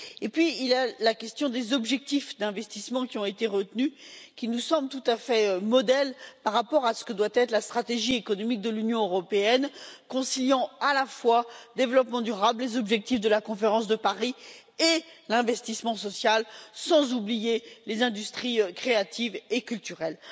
Par ailleurs, les objectifs d'investissement qui ont été retenus nous semblent tout à fait exemplaires par rapport à ce que doit être la stratégie économique de l'Union européenne, puisqu'ils concilient à la fois le développement durable, les objectifs de la conférence de Paris et l'investissement social, sans oublier les industries créatives et culturelles.